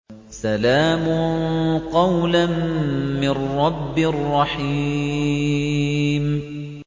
سَلَامٌ قَوْلًا مِّن رَّبٍّ رَّحِيمٍ